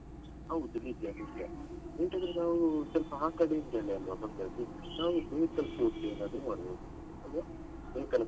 ಹೌದು ನಿಜ ನಿಜ ಎಂತಾದ್ರೂ ನಾವ್ ಹಾಕದಿದ್ದಲ್ಲಿ ನಮ್ದು ನಾವು Bekal Fort .